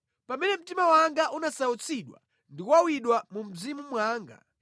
Pamene mtima wanga unasautsidwa ndi kuwawidwa mu mzimu mwanga,